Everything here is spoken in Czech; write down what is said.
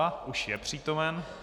A už je přítomen.